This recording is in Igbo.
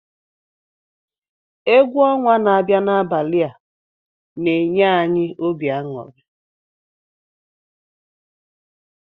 Egwu ọnwa na-abịa n'abalị a na-enye anyị obi aṅụrị.